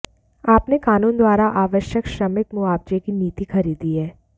आपने कानून द्वारा आवश्यक श्रमिक मुआवजे की नीति खरीदी है